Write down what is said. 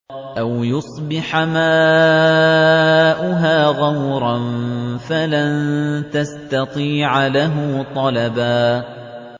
أَوْ يُصْبِحَ مَاؤُهَا غَوْرًا فَلَن تَسْتَطِيعَ لَهُ طَلَبًا